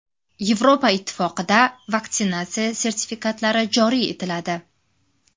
Yevropa Ittifoqida vaksinatsiya sertifikatlari joriy etiladi.